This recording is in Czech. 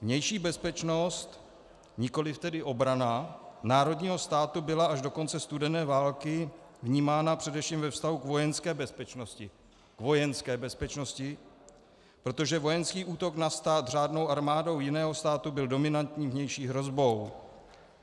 Vnější bezpečnost, nikoliv tedy obrana, národního státu byla až do konce studené války vnímána především ve vztahu k vojenské bezpečnosti, protože vojenský útok na stát řádnou armádou jiného státu byl dominantní vnější hrozbou.